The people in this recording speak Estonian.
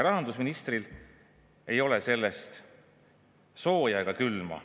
Rahandusministril ei ole sellest sooja ega külma.